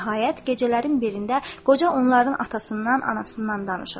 Nəhayət, gecələrin birində qoca onların atasından, anasından danışır.